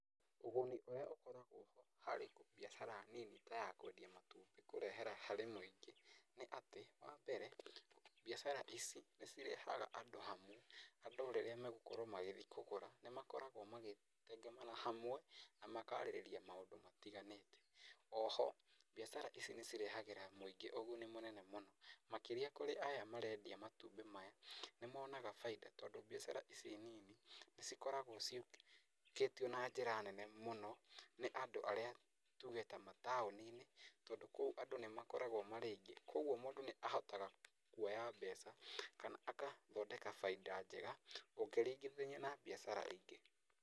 Ũguni ũrĩa ũkoragwo ho harĩ biacara nini ta ya kwendia matumbĩ kũrehera harĩ mũingĩ ,nĩ atĩ wa mbere biacara ici nĩ cirehaga andũ hamwe, andũ rĩrĩa megũkorwo magĩthi kũgũra nĩ makoragwo magĩtengemana hamwe na makarĩrĩria maũndũ matĩganĩte. Oho biacara ici nĩ ĩrehagĩra mũingĩ ũguni mũnene mũno makĩria kũrĩ aya marendia matumbĩ maya nĩ monaga bainda tondũ biacara ici nini nĩ cikoragwo cĩtikĩtio na njĩra nene mũno nĩ andũ arĩa tuge ta mataoni-inĩ tondũ kũu andũ nĩ makoragwo marĩ aingĩ koguo andũ nĩ mahotaga kuoya mbeca kana agathondeka baida njega gũkĩringithio na biacara ingĩ.